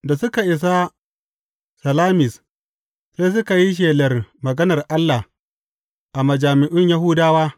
Da suka isa Salamis, sai suka yi shelar maganar Allah a majami’un Yahudawa.